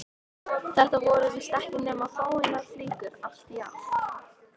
Þetta voru víst ekki nema fáeinar flíkur allt í allt.